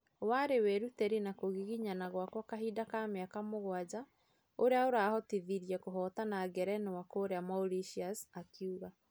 " Warĩ wĩruteri na na kũgiginyana gwakwa kahinda ka miaka mũgwaja ũria ũrahotirie kũhotana ngerenwa kũrĩa Mauritius " akiuga